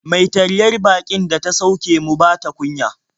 Mai taryar baƙin da ta sauke mu ba ta kunya.